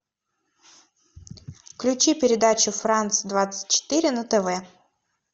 включи передачу франс двадцать четыре на тв